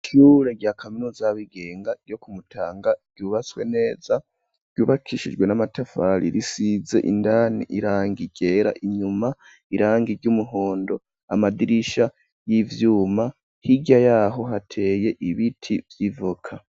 Ishure rya kaminuza rya bigenga ryo kumutanga ryubaswe neza ryubakishijwe n'amatafari risize indani irangi ryera inyuma irangi ry'umuhondo amadirisha y'ivyuma hirya yaho hateye ibiti vyivoka.